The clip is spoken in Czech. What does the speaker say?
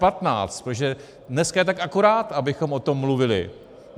Protože dneska je tak akorát, abychom o tom mluvili!